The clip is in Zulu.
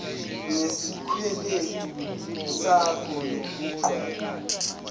ngesikweletu sakho nokugwema